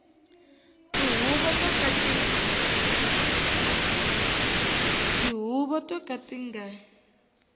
tihuvo to ka ti nga